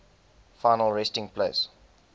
final resting place